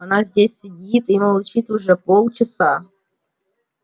она здесь сидит и молчит уже полчаса